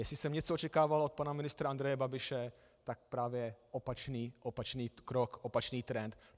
Jestli jsem něco očekával od pana ministra Andreje Babiše, tak právě opačný krok, opačný trend.